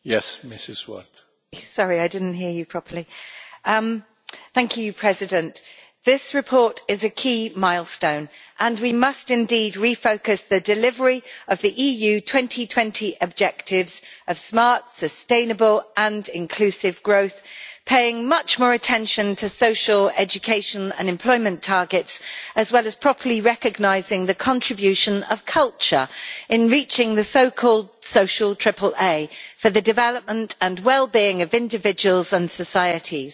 Mr President, this report is a key milestone, and we must indeed refocus the delivery of the EU 2020 objectives of smart, sustainable and inclusive growth, paying much more attention to social education and employment targets, as well as properly recognising the contribution of culture in reaching the so called Social Triple A for the development and wellbeing of individuals and societies.